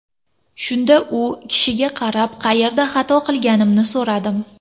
Shunda u kishiga qarab, qayerda xato qilganimni so‘radim.